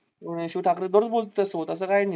शिव ठाकरे दररोज बोलतो त्याच्या सोबत असं काय नाही.